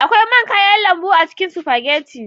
Akwai man kayan lambu a cikin spaghetti.